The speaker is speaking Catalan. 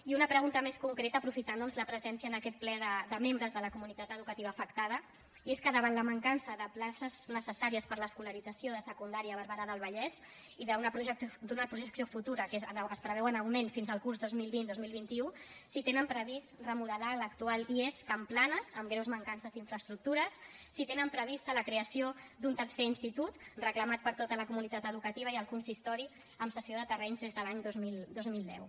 i una pregunta més concreta aprofitant doncs la presència en aquest ple de membres de la comunitat educativa afectada i és que davant la mancança de places necessàries per a l’escolarització de secundària a barberà del vallès i d’una projecció futura que es preveu en augment fins al curs dos mil vint dos mil vint u si tenen previst remodelar l’actual ies can planas amb greus mancances d’infraestructures si tenen prevista la creació d’un tercer institut reclamat per tota la comunitat educativa i el consistori amb cessió de terrenys des de l’any dos mil deu